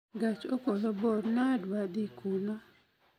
Gach okolo bor nadedhi kuno